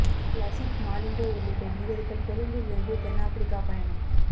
லசித் மாலிங்க உள்ளிட்ட வீரர்கள் கொழும்பிலிருந்து தென்னாபிரிக்கா பயணம்